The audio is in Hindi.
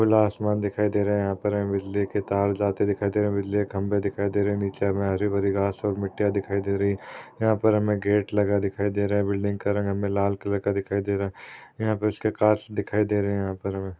खुला आसमान यह पर दिखाई दे रहा है बिजली के तार जाते दिखाई दे रहे है बिजली के खंबे दिखाई दे रहे है नीचे हमें हरी भारी घास और मिट्टीया दिखाई दे रही है यहा पर हमें गेट लगा दिखाई दे रहा है बिल्डिंग का का रंग हमें लाल कलर का दिखाई दे रहा है यहा पर उसके काच दिखाई दे रहे है। यहाँ पर हमें --